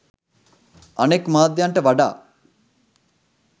අනෙක් මාධ්‍යන්ට වඩා